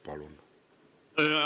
Palun!